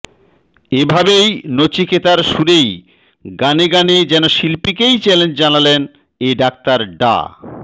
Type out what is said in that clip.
এভাবেই নচিকেতার সুরেই গানে গানে যেন শিল্পীকেই চ্যালেঞ্জ জানালেন এ ডাক্তার ডা